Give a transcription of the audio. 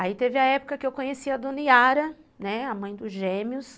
Aí teve a época que eu conheci a dona Yara, né, a mãe dos gêmeos.